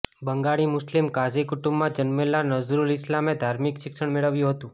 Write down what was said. બંગાળી મુસ્લિમ કાઝી કુટુંબમાં જન્મેલા નઝરૂલ ઈસ્લામે ધાર્મિક શિક્ષણ મેળવ્યું હતું